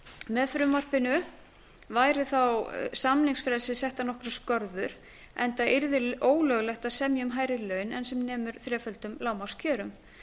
með frumvarpinu væru samningsfrelsi settar nokkrar skorður enda yrði ólöglegt að semja um hærri laun en sem nemur þreföldum lágmarkskjörum